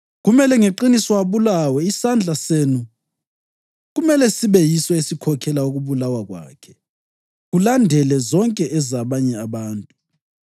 Kumele ngeqiniso abulawe. Isandla senu kumele sibe yiso esikhokhela ukubulawa kwakhe, kulandele zonke ezabanye abantu.